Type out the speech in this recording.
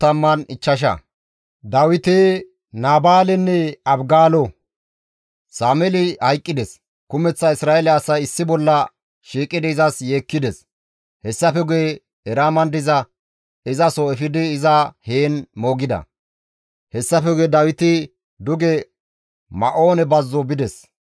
Sameeli hayqqides; kumeththa Isra7eele asay issi bolla shiiqidi izas yeekkides; hessafe guye Eraaman diza izaso efidi iza heen moogida. Hessafe guye Dawiti duge Ma7oone bazzo bides.